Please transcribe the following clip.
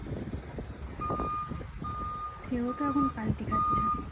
সেও তো এখন পাল্টি খাচ্ছে